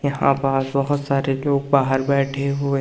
यहां पास बहोत सारे लोग बाहर बैठे हुए--